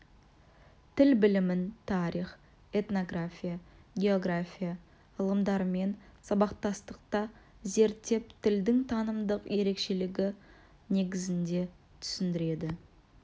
тіл білімін тарих этнография география ғылымдарымен сабақтастықта зерттеп тілдің танымдық ерекшелігі негізінде түсіндіреді